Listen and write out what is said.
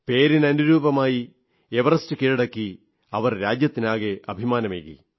പേരിന് അനുരൂപമായി എവറസ്റ്റ് കീഴടക്കി അവർ രാജ്യത്തിനാകെ അഭിമാനമേകി